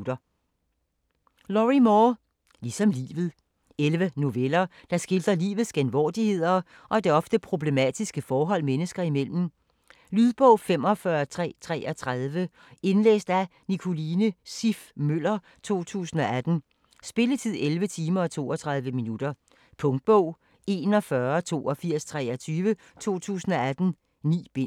Moore, Lorrie: Ligesom livet 11 noveller, der skildrer livets genvordigheder og det ofte problematiske forhold mennesker imellem. Lydbog 45333 Indlæst af Nicoline Siff Møller, 2018. Spilletid: 11 timer, 32 minutter. Punktbog 418223 2018. 9 bind.